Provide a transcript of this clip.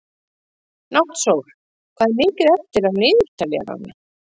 Náttsól, hvað er mikið eftir af niðurteljaranum?